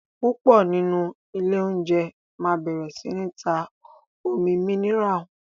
púpọ nínú Ilé oúnjẹ má bẹrẹ sí tá Omi míníràlì.